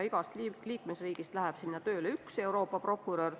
Igast liikmesriigist läheb sinna tööle üks Euroopa prokurör.